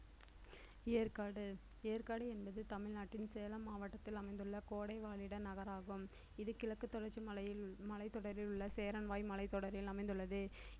ஏற்காடு ஏற்காடு என்பது தமிழ்நாட்டின் சேலம் மாவட்டத்தில் அமைந்துள்ள கோடை வாழிட நகராகும் இது கிழக்குத் தொடர்ச்சி மலையில் மலைத்தொடரில் உள்ள சேரன்வாய் மலைத் தொடரில் அமைந்துள்ளது